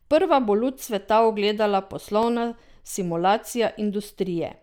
Prva bo luč sveta ugledala poslovna simulacija industrije.